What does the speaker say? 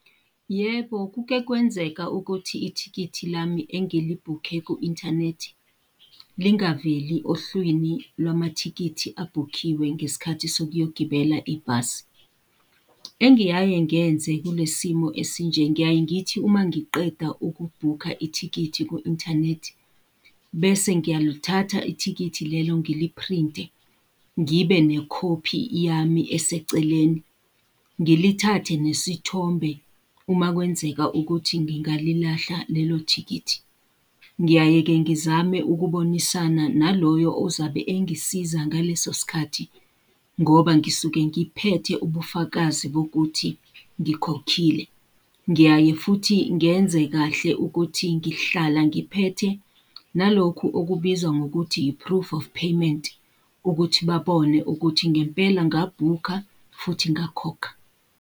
Yebo kuke kwenzeka ukuthi ithikithi lami engilibhukhe ku-inthanethi, lingaveli ohlwini lwamathikithi abhukhiwe ngesikhathi sokuyogibela ibhasi. Engiyaye ngenze kulesimo esinje ngiyaye ngithi uma ngiqeda ukubhukha ithikithi ku-inthanethi, bese ngiyalithatha ithikithi lelo ngiliphrinte, ngibe nekhophi yami eseceleni. Ngilithathe nesithombe uma kwenzeka ukuthi ngingalilahla lelo thikithi. Ngiyaye-ke ngizame ukubonisana naloyo ozabe engisiza ngaleso sikhathi, ngoba ngisuke ngibuphethe ubufakazi bokuthi ngikhokhile. Ngiyaye futhi ngenze kahle ukuthi ngihlala ngiphethe nalokhu okubizwa ngokuthi i-proof of payment, ukuthi babone ukuthi ngempela ngabhukha futhi ngakhokha.